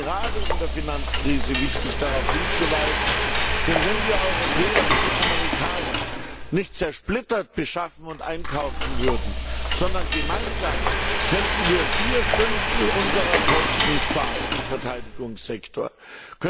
Es ist gerade in der Finanzkrise wichtig. darauf hinzuweisen. Denn wenn wir Europäer wie die Amerikaner nicht zersplittert beschaffen und einkaufen würden, sondern gemeinsam, könnten wir vier Fünftel unserer Kosten im Verteidigungssektor sparen.